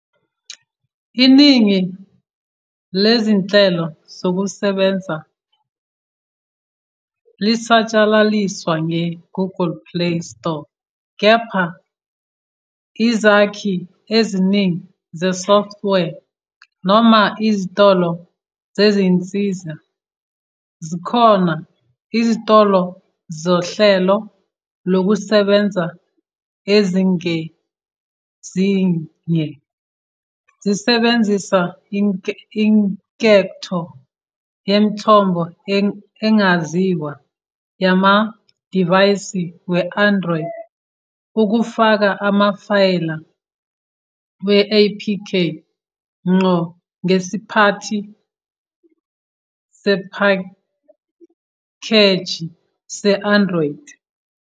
Iningi lezinhlelo zokusebenza lisatshalaliswa nge-Google Play Store kepha izakhi eziningi zesoftware, noma ezitolo zezinsiza, zikhona. Izitolo zohlelo lokusebenza ezingezinye zisebenzisa inketho "yemithombo engaziwa" yamadivayisi we-Android ukufaka amafayela we-APK ngqo ngesiphathi sephakheji se-Android.